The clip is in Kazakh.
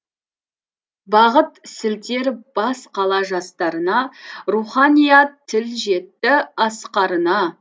бағыт сілтер бас қала жастарына руханият тіл жетті асқарына